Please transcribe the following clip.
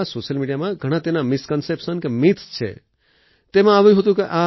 social મીડિયામાં ઘણાં તેના મિસ્કોન્સેપ્શન કે મિથ્સ છે તેમાં આવ્યું હતું કે આ